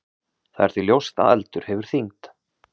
Það er því ljóst að eldur hefur þyngd.